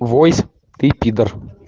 войск ты пидор